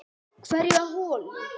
Hverja holu.